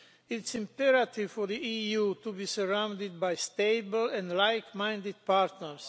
It is imperative for the EU to be surrounded by stable and like minded partners.